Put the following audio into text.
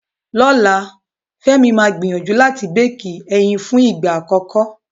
Lọ́la, Fẹ́mi máa gbìyànjú láti béékì ẹyin fún ìgbà àkọ́kọ́.